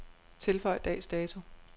Tilføj dags dato.